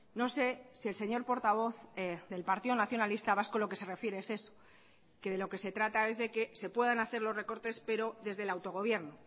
no sé si el señor portavoz del partido nacionalista vasco lo que se refiere es eso que de lo que se trata es de que se puedan hacer los recortes pero desde el autogobierno